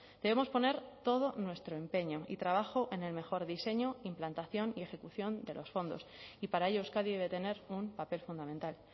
debemos poner todo nuestro empeño y trabajo en el mejor diseño implantación y ejecución de los fondos y para ello euskadi debe tener un papel fundamental